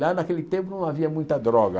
Lá naquele tempo não havia muita droga.